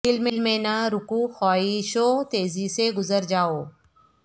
دل میں نہ رکو خواہشو تیزی سے گزر جا و